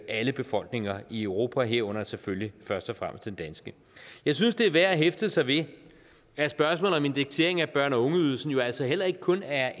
alle befolkninger i europa herunder selvfølgelig først og fremmest den danske jeg synes det er værd at hæfte sig ved at spørgsmålet om indeksering af børne og ungeydelsen jo altså heller ikke kun er